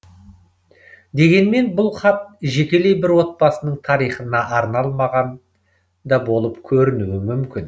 дегенмен бұл хат жекелей бір отбасының тарихына арналмаған да болып көрінуі мүмкін